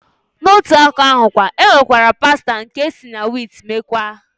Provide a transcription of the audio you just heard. Na otu aka ahụkwa, e nwekwara pasta nke esi na wiit mekwaa.